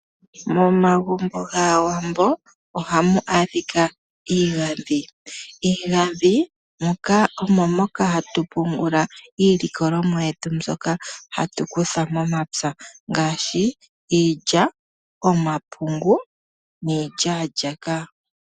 Momagumbo gaawambo ohamu adhika iigandhi. Miigandhi omo hatu pungula iilikolomwa yetu mbyoka hatu kutha momapya ngaashi iilya, omapungu niilyaalyaka.